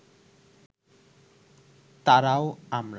তারাও আমার